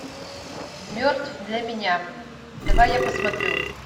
мертв для меня давай я посмотрю